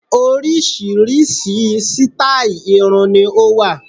Oríṣiríṣi sítáì irun ni ó wà